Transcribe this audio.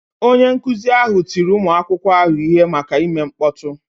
Onye nkụzi ahụ tiri ụmụ akwụkwọ ahụ ihe maka ime mkpọtụ.